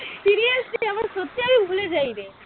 ভুলে যাই রে।